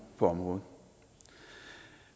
på området